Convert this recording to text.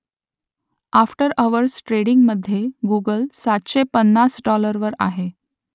after hours ट्रेडिंगमधे Google सातशे पन्नास डॉलरवर आहे